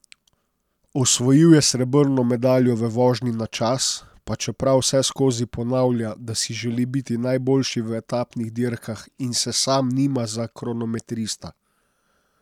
Osvojil je srebrno medaljo v vožnji na čas, pa čeprav vseskozi ponavlja, da si želi biti najboljši v etapnih dirkah in se sam nima za kronometrista.